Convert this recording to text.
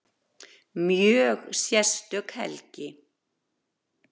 Mjög sérstök helgi